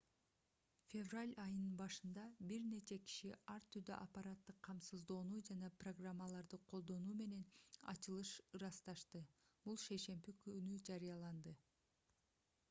февраль айынын башында бир нече киши ар түрдүү аппараттык камсыздоону жана программаларды колдонуу менен ачылышты ырасташты бул шейшемби күнү жарыяланды